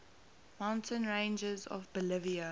mountain ranges of bolivia